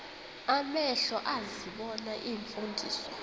amehlo ezibona iimfundiso